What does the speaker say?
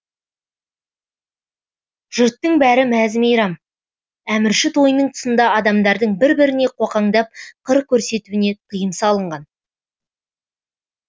жұрттың бәрі мәз мейрам әмірші тойының тұсында адамдардың бір біріне қоқаңдап қыр көрсетуіне тыйым салынған